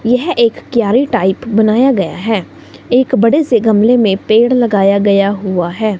यह एक क्यारी टाइप बनाया गया है एक बड़े से गमले में पेड़ लगाया गया हुआ है।